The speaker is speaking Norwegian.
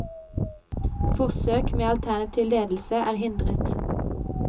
Forsøk med alternativ ledelse er hindret.